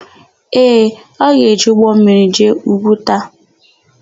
Ee, ọ ga-eji ụgbọmmiri jee Ugwuta.